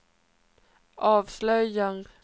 avslöjar